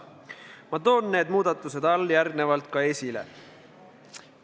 Ma toon need muudatused alljärgnevalt ka esile.